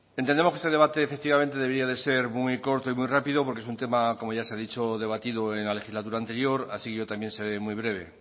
entendemos que ese debate efectivamente debía ser muy corto y muy rápido porque un tema como ya se ha dicho debatido en la legislatura anterior así yo también seré muy breve